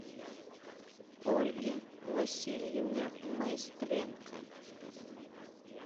ольге васильевне майстренко